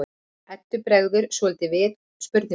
Eddu bregður svolítið við spurninguna.